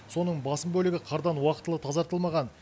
соның басым бөлігі қардан уақытылы тазартылмаған